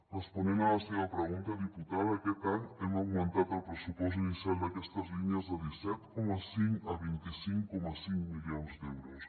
responent a la seva pregunta diputada aquest any hem augmentat el pressupost inicial d’aquestes línies de disset coma cinc a vint cinc coma cinc milions d’euros